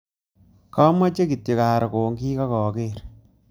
Kamechei kityo aro kongik aka ager